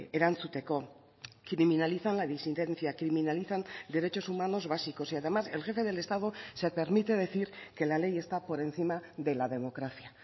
erantzuteko criminalizan la disidencia criminalizan derechos humanos básicos y además el jefe del estado se permite decir que la ley está por encima de la democracia